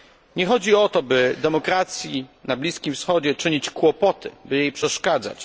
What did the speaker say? Nie chodzi o to, by demokracji na Bliskim Wschodzie czynić kłopoty, by jej przeszkadzać.